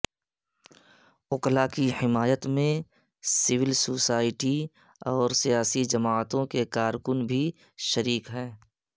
وکلاء کی حمایت میں سول سوسائٹی اور سیاسی جماعتوں کے کارکن بھی شریک ہیں